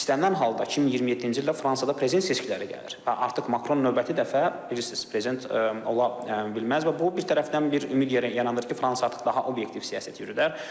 İstənilən halda 2027-ci ildə Fransada prezident seçkiləri gəlir və artıq Makron növbəti dəfə, bilirsiz, prezident ola bilməz və bu bir tərəfdən bir ümid yeri yaranır ki, Fransa artıq daha obyektiv siyasət yürüdər.